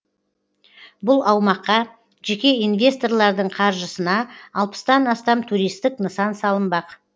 бұл аумаққа жеке инвесторлардың қаржысына алпыстан астам туристік нысан салынбақ